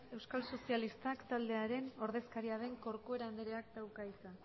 euskal sozialistak taldearen ordezkaria den corcuera andreak dauka hitza